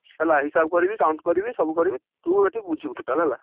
ହେଲା ହିସାବ କରିବି count କରିବି ସବୁ କରିବି, ତୁ ଏଠି ବୁଝିବୁ total ହେଲା।